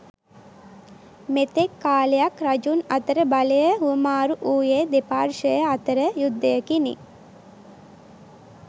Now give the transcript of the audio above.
මෙතෙක් කාලයක් රජුන් අතර බලය හුවමාරු වුයේ දෙපාර්ශවය අතර යුද්ධයකිනි.